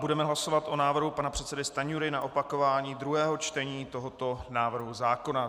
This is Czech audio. Budeme hlasovat o návrhu pana předsedy Stanjury na opakování druhého čtení tohoto návrhu zákona.